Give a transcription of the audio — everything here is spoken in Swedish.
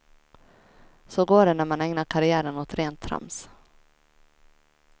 Så går det när man ägnar karriären åt rent trams.